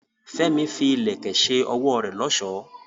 Fẹ́mi fi ìlẹ̀kẹ̀ ṣe ọwọ́ rẹ̀ lọ́ṣọ̀ọ́.